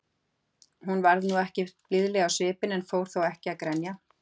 Hún varð nú ekkert blíðleg á svipinn, en fór þó ekki að grenja.